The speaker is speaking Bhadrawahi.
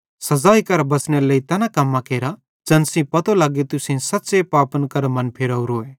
सज़ाई करां बच़नेरे लेइ तैना कम्मां केरा ज़ैन सेइं पतो लग्गे तुसेईं सच़्च़े पापन करां मन फिरावरोए